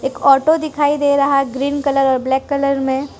एक ऑटो दिखाई दे रहा है ग्रीन कलर और ब्लैक कलर में --